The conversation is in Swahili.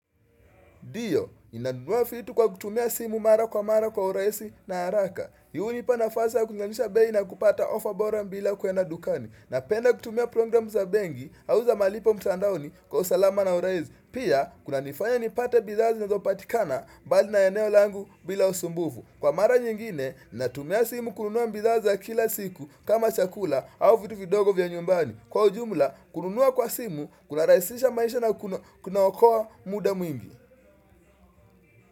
Ndiyo, ninanunua vitu kwa kutumia simu mara kwa mara kwa urahisi na haraka. Hii hunipa nafasi ya kulinganisha bei na kupata offer bora bila kuenda dukani. Napenda kutumia programu za benki au za malipo mtandaoni kwa usalama na urahisi. Pia, kunanifanya nipate bidhaa zinazopatikana bali na eneo langu bila usumbufu. Kwa mara nyingine, natumia simu kununua bidhaa za kila siku kama chakula au vitu vidogo vya nyumbani. Kwa ujumla, kununua kwa simu, kunarahisisha maisha na kunaokoa muda mwingi.